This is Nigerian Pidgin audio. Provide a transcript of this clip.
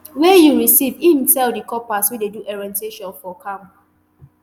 wey you receive im tell di corpers wey dey do orientation for camp